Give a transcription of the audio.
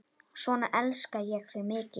Svona elska ég þig mikið.